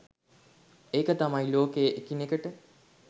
ඒක තමයි ලෝකයේ එකිනෙකට